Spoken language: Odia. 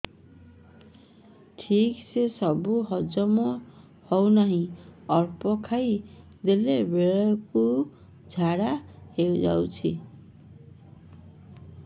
ଠିକସେ ସବୁ ହଜମ ହଉନାହିଁ ଅଳ୍ପ ଖାଇ ଦେଲା ବେଳ କୁ ଝାଡା ହେଇଯାଉଛି